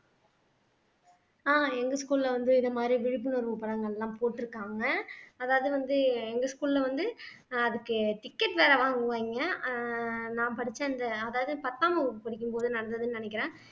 ஆஹ் எங்க school ல வந்து இது மாதிரி விழிப்புணர்வு படங்கள் எல்லாம் போட்டுருக்காங்க அதாவது வந்து எங்க school ல வந்து ஆஹ் அதுக்கு ticket வேற வாங்குவாங்க ஆஹ் நான் படிச்ச அந்த அதாவது பத்தாம் வகுப்பு படிக்கும் போது நடந்ததுன்னு நினைக்கிறேன்